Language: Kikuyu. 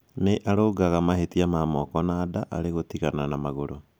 Nĩ arũngaga mahĩtia ma moko na nda, alikũtigana ona magũrũ